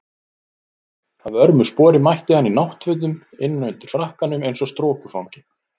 Að vörmu spori mætti hann í náttfötum innan undir frakkanum eins og strokufangi.